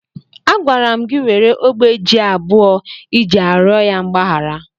Agwara m gị were ogbe ji abụọ iji arịọ ya mgbaghara!